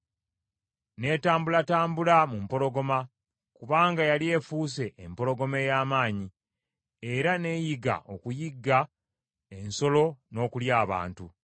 N’etambulatambula mu mpologoma, kubanga yali efuuse empologoma ey’amaanyi, era n’eyiga okuyigga ensolo, n’okulya abantu.